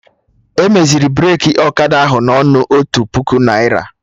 Emeziri Breki Ọkada ahụ na ọnụ otu puku naira